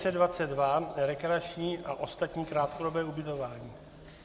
N522 - rekreační a ostatní krátkodobé ubytování.